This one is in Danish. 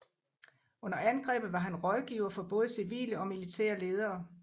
Under angrebet var han rådgiver for både civile og militære ledere